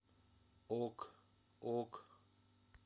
ок ок